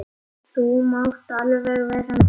Þú mátt alveg vera með.